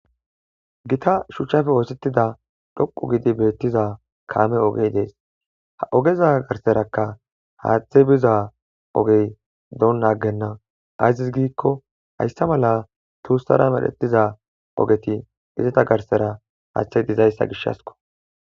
gita shuchchafe oosettida dhoqu gidi beettiza kaame ogey dees ha ogeza garserakka haaththe biza ogey doon naggenna azis giikko hayssa mala tuussara medhettiza ogeti izata garsera haaththey dizayssa gishasko